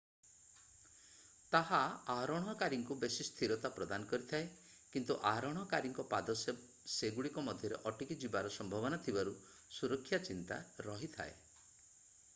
ତାହା ଆରୋହଣକାରୀଙ୍କୁ ବେଶୀ ସ୍ଥିରତା ପ୍ରଦାନ କରିଥାଏ କିନ୍ତୁ ଆରୋହଣକାରୀଙ୍କ ପାଦ ସେଗୁଡ଼ିକ ମଧ୍ୟରେ ଅଟକିଯିବାର ସମ୍ଭାବନା ଥିବାରୁ ସୁରକ୍ଷା ଚିନ୍ତା ରହିଥାଏ